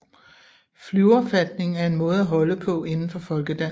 Flyverfatning er en måde at holde på inden for folkedans